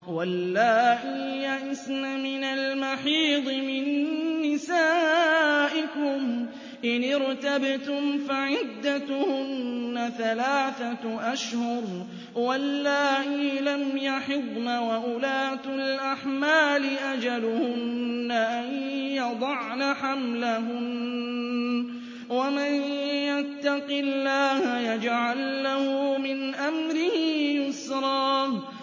وَاللَّائِي يَئِسْنَ مِنَ الْمَحِيضِ مِن نِّسَائِكُمْ إِنِ ارْتَبْتُمْ فَعِدَّتُهُنَّ ثَلَاثَةُ أَشْهُرٍ وَاللَّائِي لَمْ يَحِضْنَ ۚ وَأُولَاتُ الْأَحْمَالِ أَجَلُهُنَّ أَن يَضَعْنَ حَمْلَهُنَّ ۚ وَمَن يَتَّقِ اللَّهَ يَجْعَل لَّهُ مِنْ أَمْرِهِ يُسْرًا